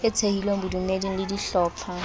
e thehilweng bodumeding le dihlopha